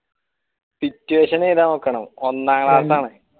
dictation എഴുതാൻ നോക്കണം ഒന്നാം class ആണ്